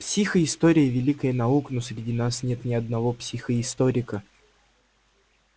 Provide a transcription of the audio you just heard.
психоистория великая наука но среди нас нет ни одного психоисторика